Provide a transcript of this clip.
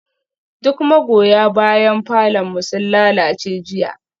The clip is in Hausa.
Duk magoya bayan falon mu sun lalace jiya